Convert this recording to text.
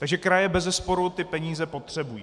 Takže kraje bezesporu ty peníze potřebují.